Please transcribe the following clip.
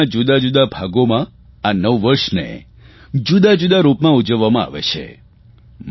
દેશના જુદાજુદા ભાગોમાં નવ વર્ષને જુદાજુદા રૂપમાં ઉજવવામાં આવે છે